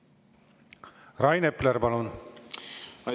Rain Epler, palun!